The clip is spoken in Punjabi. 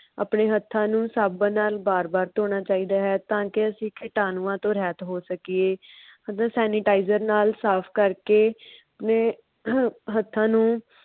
ਆਪਣੇ ਹੱਥਾਂ ਨੂੰ ਸਾਬਣ ਨਾਲ ਵਾਰ -ਵਾਰ ਧੋਣਾ ਚਾਹੀਦਾ ਹੈ ਤਾ ਕਿਕੀਟਾਣੂਆਂ ਤੋਂ ਰਾਹਤ ਹੋ ਸਕੀਏ। sanitizer ਨਾਲ ਸਾਫ ਕਰ ਕੇ ਹੱਥਾਂ ਨੂੰ